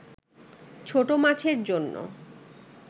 ছোট মাছের জন্য